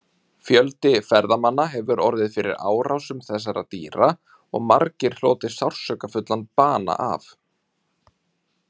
Fjöldi ferðamanna hefur orðið fyrir árásum þessara dýra og margir hlotið sársaukafullan bana af.